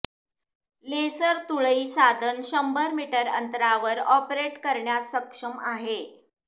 laser तुळई साधन शंभर मीटर अंतरावर ऑपरेट करण्यास सक्षम आहे